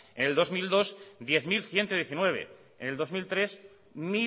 en el dos mil dos diez mil ciento diecinueve en el dos mil tres